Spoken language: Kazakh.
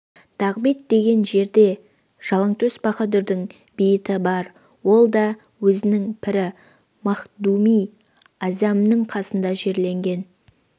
дағбет деген жерде жалаңтөс баһадүрдің бейіті бар ол да өзінің пірі махдуми аъзамның қасында жерленген